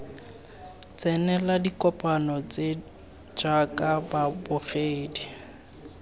tsenela dikopano tse jaaka babogedi